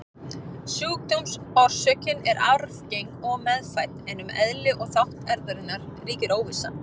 Sjúkdómsorsökin er arfgeng og meðfædd, en um eðli og þátt erfðarinnar ríkir óvissa.